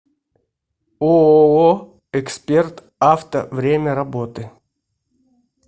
ооо эксперт авто время работы